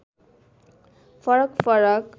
फरक फरक